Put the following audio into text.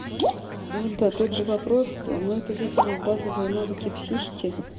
он тот же вопрос но это видимо базовые навыки психики